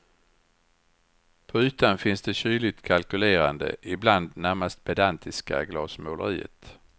På ytan finns det kyligt kalkylerande, ibland närmast pedantiska glasmåleriet.